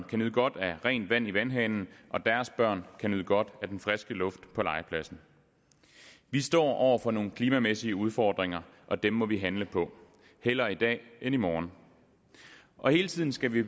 kan nyde godt af rent vand i vandhanen og deres børn kan nyde godt af den friske luft på legepladsen vi står over for nogle klimamæssige udfordringer og dem må vi handle på hellere i dag end i morgen og hele tiden skal vi